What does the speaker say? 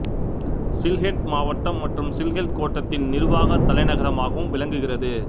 சில்ஹெட் மாவட்டம் மற்றும் சில்ஹெட் கோட்டத்தின் நிர்வாக தலைநகரமாகவும் விளங்குகிறது